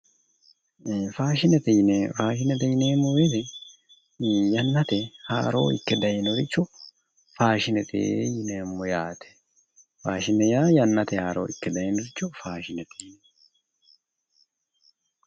Faashine yineemmo weete yanateyi haaroorricho ikke dayinoricho faashinete yineemmo